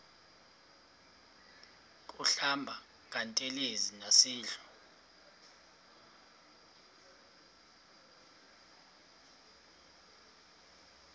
kuhlamba ngantelezi nasidlo